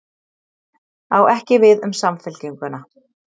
Á ekki við um Samfylkinguna